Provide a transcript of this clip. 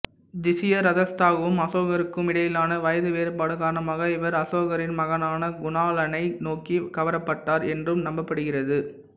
திஷியரக்ஷதாவுக்கும் அசோகருக்கும் இடையிலான வயது வேறுபாடு காரணமாக இவர் அசோகரின் மகனான குணாளனை நோக்கி கவரப்பட்டார் என்றும் நம்பப்படுகிறது